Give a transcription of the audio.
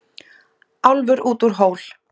Álfur út úr hól.